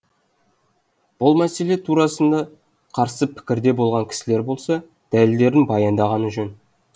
бұл мәселе турасында қарсы пікірде болған кісілер болса дәлелдерін баяндағаны жөн